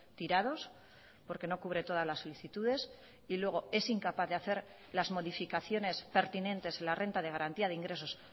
tirados porque no cubre todas las solicitudes y luego es incapaz de hacer las modificaciones pertinentes en la renta de garantía de ingresos